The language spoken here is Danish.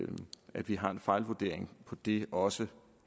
at vi har en fejlvurdering på det også